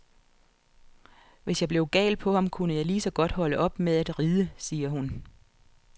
Hvis jeg blev gal på ham, kunne jeg lige så godt holde op med at ride, siger hun.